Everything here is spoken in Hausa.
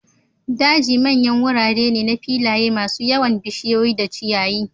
daji manyan wurare ne na filaye masu yawan bishiyoyi da ciyayi.